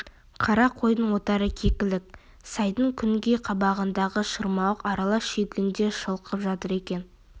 қара қойдың отары кекілік сайдың күнгей қабағындағы шырмауық аралас шүйгінде шылқып жатыр екен